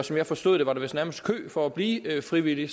som jeg forstod det var der vist nærmest kø for at blive frivillig